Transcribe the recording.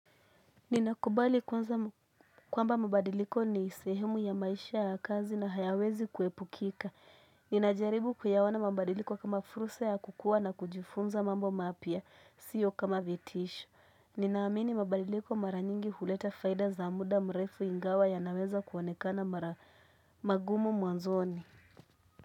Ninakubali kwanza kwamba mabadiliko ni sehemu ya maisha ya kazi na hayawezi kuepukika. Ninajaribu kuyaona mabadiliko kama furusa ya kukua na kujifunza mambo mapya, siyo kama vitisho. Ninaamini mabadiliko mara nyingi huleta faida za muda mrefu ingawa ya naweza kuonekana mara magumu mwanzoni.